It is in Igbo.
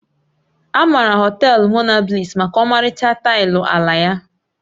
A maara Họtelu Monabliss maka ọmarịcha taịlị ala ya